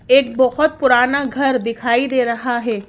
एक बोहोत पुराना घर दिखाई दे रहा है।